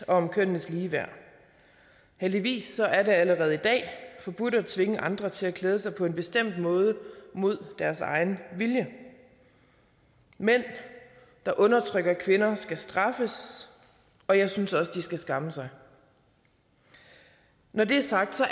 om kønnenes ligeværd heldigvis er det allerede i dag forbudt at tvinge andre til at klæde sig på en bestemt måde mod deres egen vilje mænd der undertrykker kvinder skal straffes og jeg synes også at de skal skamme sig når det er sagt